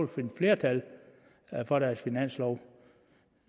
finde flertal for deres finanslov